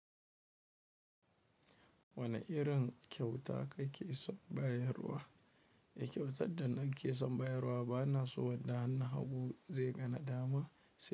Wane irin kyauta kake son bayarwa? Kyautar da nake son bayarwa bana so wadda hannu hagu zai ga na dama sai.